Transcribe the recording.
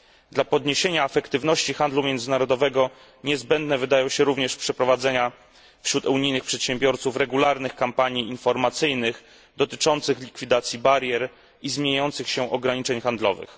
Dla podniesienia efektywności handlu międzynarodowego niezbędne wydaje się również przeprowadzenie wśród unijnych przedsiębiorców regularnych kampanii informacyjnych dotyczących likwidacji barier i zmieniających się ograniczeń handlowych.